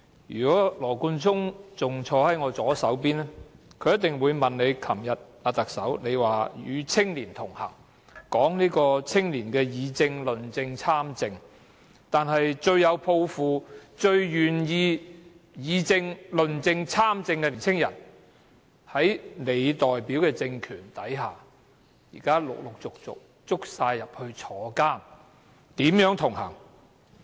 如果羅冠聰仍然坐在我左邊，他一定會問特首，她昨天說與青年同行，說青年議政、論政和參政，但是，最有抱負，最願意議政、論政和參政的年輕人在她代表的政權下，現時陸陸續續被捕入牢，如何同行？